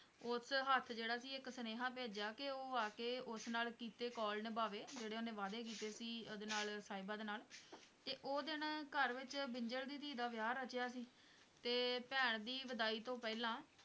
ਉਸ ਹੱਥ ਜਿਹੜਾ ਸੀ ਇੱਕ ਸੁਨੇਹਾ ਭੇਜਿਆ ਕਿ ਉਹ ਆ ਕੇ ਉਸ ਨਾਲ ਕੀਤੇ ਕੌਲ ਨਿਭਾਵੇ, ਜਿਹੜੇ ਉਹਨੇ ਵਾਅਦੇ ਕੀਤੇ ਸੀ, ਉਹਦੇ ਨਾਲ ਸਾਹਿਬਾਂ ਦੇ ਨਾਲ ਤੇ ਉਹ ਦਿਨ ਘਰ ਵਿੱਚ ਬਿੰਜਲ ਦੀ ਧੀ ਦਾ ਵਿਆਹ ਰਚਿਆ ਸੀ, ਤੇ ਭੈਣ ਦੀ ਵਿਦਾਈ ਤੋਂ ਪਹਿਲਾਂ